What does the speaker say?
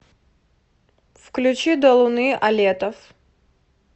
включи до луны алетов